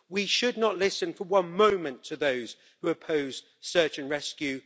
We should not listen for one moment to those who oppose search and rescue.